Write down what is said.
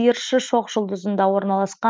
сиыршы шоқжұлдызында орналасқан